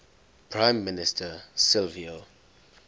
prime minister silvio